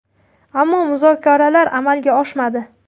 Ammo muzokaralar amalga oshmadi.